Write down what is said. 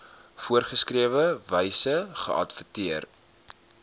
voorgeskrewe wyse geadverteer